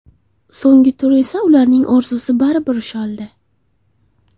So‘nggi tur esa ularning orzusi baribir ushaldi.